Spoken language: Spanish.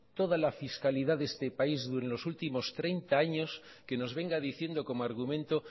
toda la fiscalidad de este país de los últimos treinta años que nos venga diciendo como argumento